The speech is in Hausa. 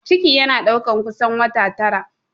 Ciki yana ɗaukar kusan wata tara